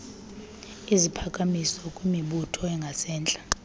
iziphakamiso kwimibutho engasentla